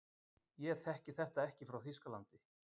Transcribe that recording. ég þekki þetta ekki frá þýskalandi